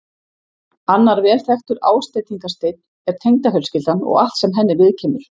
Annar vel þekktur ásteytingarsteinn er tengdafjölskyldan og allt sem henni viðkemur.